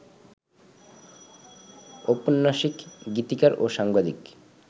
ঔপন্যাসিক, গীতিকার ও সাংবাদিক